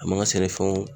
A man ka sɛnɛfɛnw